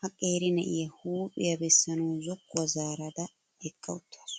Ha qeeri na'iyaa huuphiyaa bessanawu zokkuwaa zaarada eqqa uttaasu.